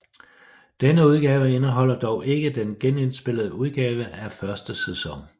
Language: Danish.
Denne udgave indeholder dog ikke den genindspillede udgave af første sæson